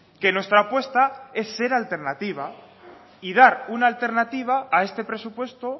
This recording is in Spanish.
que nuestra apuesta es ser alternativa y dar una alternativa a este presupuesto